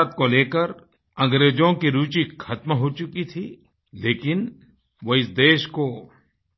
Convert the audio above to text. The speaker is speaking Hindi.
भारत को लेकर अंग्रेजों की रूचि ख़त्म हो चुकी थी लेकिन वो इस देश को